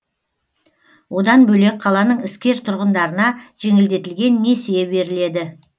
одан бөлек қаланың іскер тұрғындарына жеңілдетілген несие беріледі